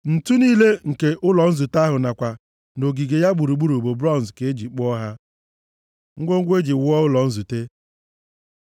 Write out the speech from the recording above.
Ǹtu niile nke ụlọ nzute ahụ nakwa nʼogige ya gburugburu bụ bronz ka e ji kpụọ ha. Ngwongwo e ji wuo ụlọ nzute